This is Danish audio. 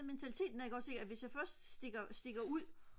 mentaliteten er ikk ogs ikk at hvis jeg først stikker ud